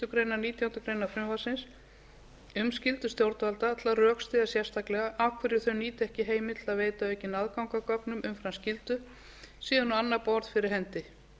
grein nítjánda grein frumvarpsins um skyldu stjórnvalda til að rökstyðja sérstaklega af hverju þau nýta ekki heimild til að veita aukinn aðgang að gögnum umfram skyldu sé hann á annað borð fyrir hendi